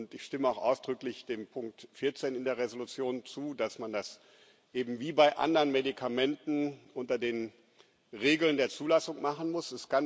Ich stimme auch ausdrücklich dem Punkt 14 in der Entschließung zu, dass man das eben wie bei anderen Medikamenten unter den Regeln der Zulassung machen muss.